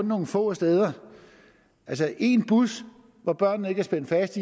nogle få steder altså en bus hvor børnene ikke er spændt fast